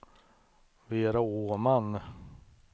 Vera Åman